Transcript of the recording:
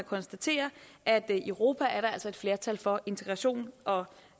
konstatere at i europa er der altså et flertal for integration og